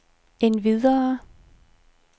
endvidere